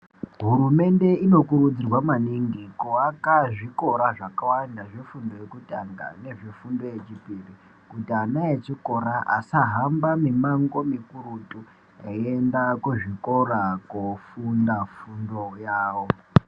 Hurumende inokurudzirwa maningi kuvaka zvikora zvakawanda zvefundo yekutanga nezvefundo yechipiri. Kuti ana echikora asahamba mimango mikurutu eienda kuzvikora kofunda fundo yavo.